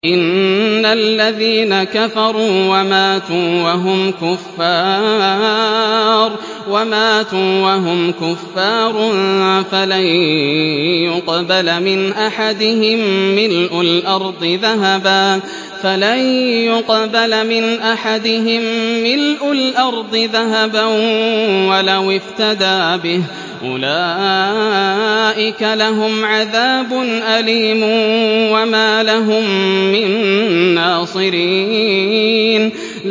إِنَّ الَّذِينَ كَفَرُوا وَمَاتُوا وَهُمْ كُفَّارٌ فَلَن يُقْبَلَ مِنْ أَحَدِهِم مِّلْءُ الْأَرْضِ ذَهَبًا وَلَوِ افْتَدَىٰ بِهِ ۗ أُولَٰئِكَ لَهُمْ عَذَابٌ أَلِيمٌ وَمَا لَهُم مِّن نَّاصِرِينَ